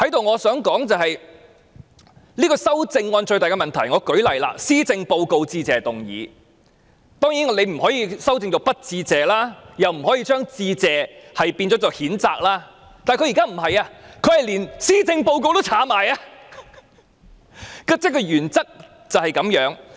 我想在此指出這項修正案最大的問題，舉例來說，施政報告的致謝議案，當然我們不可以修改為不致謝，又或將"致謝"修改為譴責，但現在梁美芬議員是連"施政報告"的字眼也刪去，原則便是這樣。